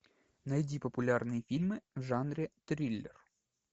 найди популярные фильмы в жанре триллер